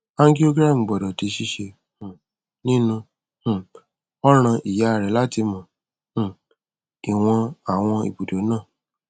angiogram gbọdọ di ṣíṣe um nínú um ọràn ìyá rẹ láti mọ um ìwọn àwọn ibùdó náà